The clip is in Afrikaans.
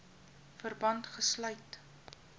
verband gesluit